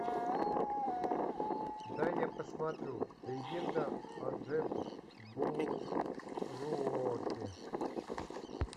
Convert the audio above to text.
дай я посмотрю легенда о джабберуоке